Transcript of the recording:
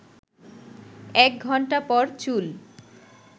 ১ ঘণ্টা পর চুল